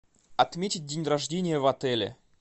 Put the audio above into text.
отметить день рождения в отеле